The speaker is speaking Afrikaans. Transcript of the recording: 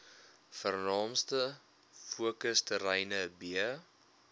vernaamste fokusterreine b